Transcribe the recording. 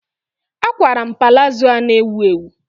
A kwara m palazo a na-ewu ewu.